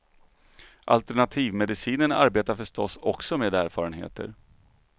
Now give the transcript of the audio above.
Alternativmedicinen arbetar förstås också med erfarenheter.